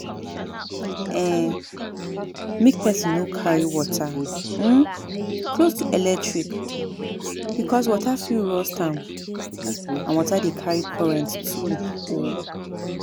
um Make person no carry water um close to electric because water fit rust am and water de carry current too um